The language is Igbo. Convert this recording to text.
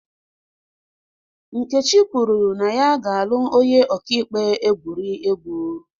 Nkechi kwuru na ya ga-alụ onye ọka ikpe egwuriegwu.